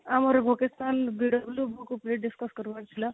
ଆଉ ଆମର vocational book ଉପରେ discuss କରିବାର ଥିଲା